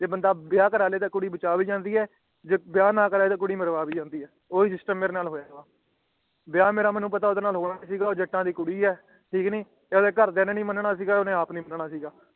ਜੇ ਬੰਦਾ ਵਿਆਹ ਕਰਾ ਲੈ ਤਾਂ ਕੁੜੀ ਬਚਾਅ ਭੀ ਜਾਂਦੀ ਹੈ ਜੇ ਵਿਆਹ ਨਾ ਕਰਾਏ ਤਾਂ ਕੁੜੀ ਮਰਵਾ ਵੀ ਜਾਂਦੀ ਹੈ ਓਹ੍ਹੋਇ ਸਿਸਟਮ ਮੇਰੇ ਨਾਲ ਹੋਇਆ ਹੈ ਵਿਆਹ ਮੇਨੂ ਪਤਾ ਹੈ ਆਉਦਾ ਮੇਰੇ ਨਾਲ ਹੋਣਾ ਨਿਗ੍ਹਾ ਕਿਉਂਕਿ ਉਹ ਜੱਟਾ ਦੀ ਕੁੜੀ ਹੈ ਠੀਕ ਹੈ ਤੇ ਆਉਂਦੇ ਘਰਦਿਆਂ ਨੇ ਨੀ ਮਨ ਨਾ ਸੀਗਾ ਤੇਰਾ ਨਾ ਆਉਣੇ ਮਨਾਣਾ ਸੀਗਾ